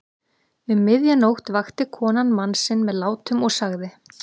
Um miðja nótt vakti konan mann sinn með látum og sagði